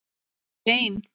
Var hún ekki ein?